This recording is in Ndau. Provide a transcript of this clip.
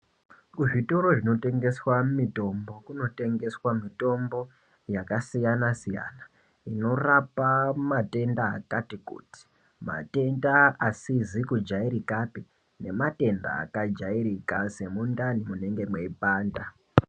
Kuzvitoro kunotengeswa mitombo kunotengeswa mitombo yakasiyanasiyana inorapa matenda akati kuti ,matenda asizi kujairikapi nematenda akajairika semundani munenge mweipanda.